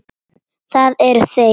Það eru þeir.